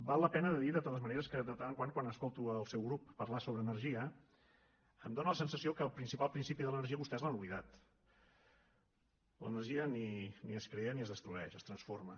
val la pena de dir de totes maneres que de tant en tant quan escolto el seu grup parlar sobre energia em dóna la sensació que el principal principi de l’energia vostès l’han oblidat l’energia ni es crea ni es destrueix es transforma